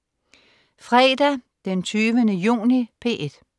Fredag den 20. juni - P1: